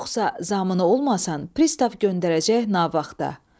Yoxsa zamini olmasan, pristav göndərəcək navaxa.